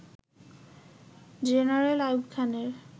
general Ayub খানের